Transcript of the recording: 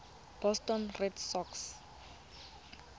boston red sox